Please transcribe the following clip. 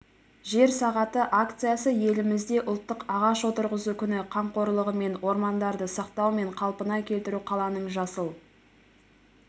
жер сағаты акциясы елімізде ұлттық ағаш отырғызу күні қамқорлығымен ормандарды сақтау мен қалпына келтіру қаланың жасыл